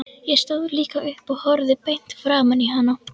Ég stóð líka upp og horfði beint framan í hana.